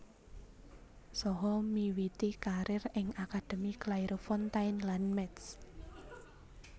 Saha miwiti karir ing akademi Clairefontaine lan Metz